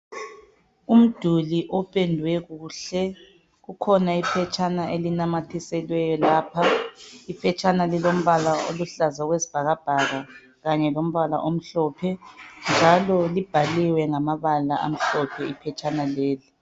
Umduli ophendwe kuhle. Kukhona iphetshana ilinamathiselweyo lapha. Iphetshana lilombala oluhlaza okwesbhakabhaka kanye lombala amhlophe, njalo libhaliwe ngamabala amhlophe iphetshana leli.